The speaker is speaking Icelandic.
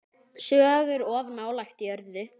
Sögur of nálægt jörðu.